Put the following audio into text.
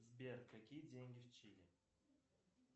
сбер какие деньги в чили